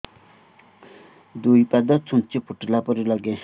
ଦୁଇ ପାଦ ଛୁଞ୍ଚି ଫୁଡିଲା ପରି ଲାଗେ